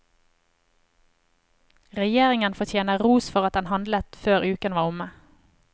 Regjeringen fortjener ros for at den handlet før uken var omme.